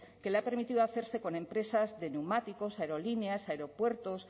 que le ha permitido hacerse con empresas de neumáticos aerolíneas aeropuertos